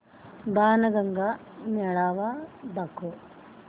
बाणगंगा मेळावा दाखव